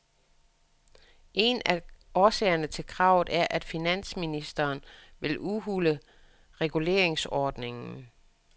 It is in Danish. En af årsagerne til kravet er, at finansministeren vil udhule reguleringsordningen.